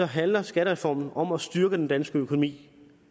handler skattereformen om at styrke den danske økonomi